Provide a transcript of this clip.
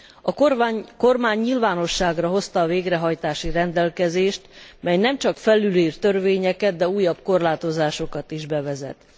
A kormány nyilvánosságra hozta a végrehajtási rendelkezést, mely nem csak felülír törvényeket, de újabb korlátozásokat is bevezet.